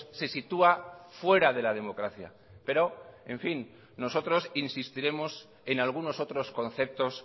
se sitúa fuera de la democracia pero en fin nosotros insistiremos en algunos otros conceptos